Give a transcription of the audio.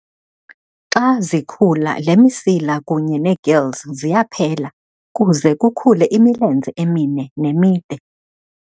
Xa zikhula, le misila kunye neegills ziyaphela kuze kukhule imilenze emine nemide.